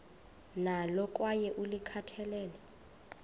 nalo kwaye ulikhathalele